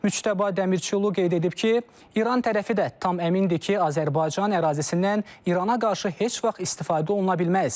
Müçtəba Dəmirçilu qeyd edib ki, İran tərəfi də tam əmindir ki, Azərbaycan ərazisindən İrana qarşı heç vaxt istifadə oluna bilməz.